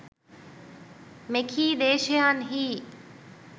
මෙකී දේශයන්හි